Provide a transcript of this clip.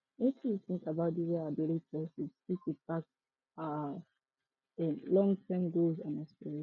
wetin you think about di way our daily choices fit impact our um longterm goals and aspirations